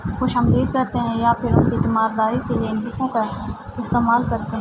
خشامدد کرتے ہے یا فر استمعال کرتے ہے۔